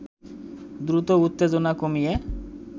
দ্রুত উত্তেজনা কমিয়ে